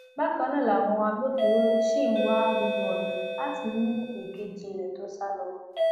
bákan náà làwọn agbófinró ṣì ń wá gbogbo ọnà láti mú èkejì rẹ tó sá lọ